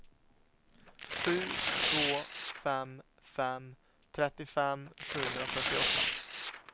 sju två fem fem trettiofem sjuhundrafyrtioåtta